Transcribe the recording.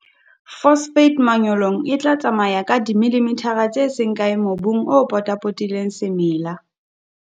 Phosphate manyolong e tla tsamaya feela dimillimithara tse seng kae mobung o potapotileng semela.